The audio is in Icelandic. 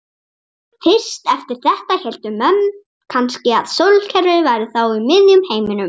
Fyrst eftir þetta héldu menn kannski að sólkerfið væri þá í miðjum heiminum.